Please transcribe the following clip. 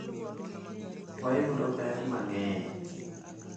Wayudo ber mang’eny.